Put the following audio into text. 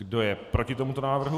Kdo je proti tomuto návrhu?